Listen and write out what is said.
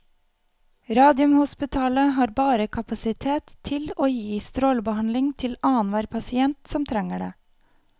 Radiumhospitalet har bare kapasitet til å gi strålebehandling til annenhver pasient som trenger det.